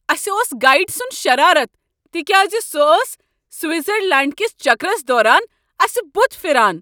اسہ اوس گایڈٕ سنٛد شرارتھ تہ کیٛاز سۄ ٲس سوٹزرلینٛڈ کس چکرس دوران اسہ بتھ پھران۔